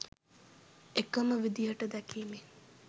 එකම විදිහට දැකීමෙන්